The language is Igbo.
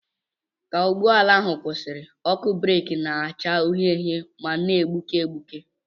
Ka ụgbọ ala ahụ kwụsịrị, ọkụ breeki na-acha uhie uhie ma na-egbuke egbuke.